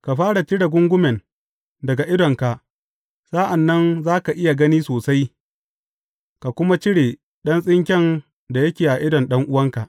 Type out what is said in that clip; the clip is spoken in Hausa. Ka fara cire gungumen daga idonka, sa’an nan za ka iya gani sosai, ka kuma cire ɗan tsinken da yake a idon ɗan’uwanka.